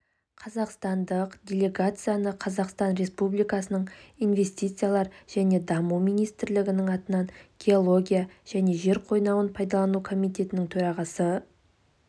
қазақстандық делегацияны қазақстан республикасы инвестициялар және даму министрлігінің атынан геология және жер қойнауын пайдалану комитетінің төрағасы